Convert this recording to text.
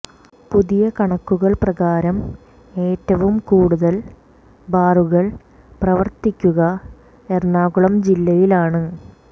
പുതിയ കണക്കുകൾ പ്രകാരം ഏറ്റവും കൂടുതൽ ബാറുകൾ പ്രവർത്തിക്കുക എറണാകുളം ജില്ലയിലാണ്